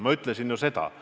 Ma ütlesin ju seda.